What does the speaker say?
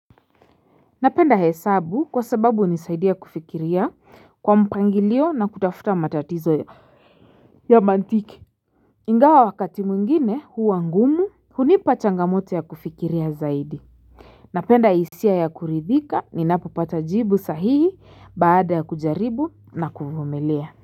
Napenda hesabu kwa sababu hunisaidia kufikiria kwa mpangilio na kutafuta matatizo ya mantiki. Ingawa wakati mwingine huwa ngumu hunipa changamoto ya kufikiria zaidi. Napenda hisia ya kuridhika ninapo pata jibu sahihi baada ya kujaribu na kuvumilia.